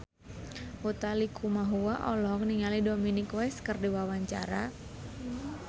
Utha Likumahua olohok ningali Dominic West keur diwawancara